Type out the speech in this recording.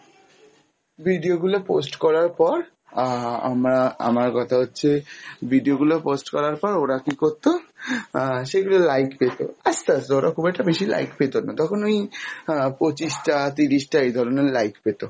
video গুলো post করার পর, আহ আমরা আমার কথা হচ্ছে video গুলো post করার পর ওরা কী করতো? আহ সেগুলো like পেত আস্তে আস্তে ধরো খুব একটা বেশি like পেত না, তখন ওই আহ পঁচিশ টা তিরিশ টা এইধরনের like পেত